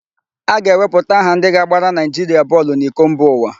A ga-ewepụta aha ndị ga-agbara Naịjiria bọọlụ n'iko mba ụwa.